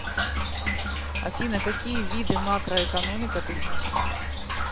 афина какие виды макроэкономика ты знаешь